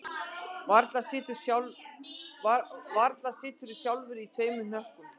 Varla siturðu sjálfur í tveim hnökkum